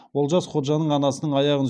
олжас ходжаның анасының аяғын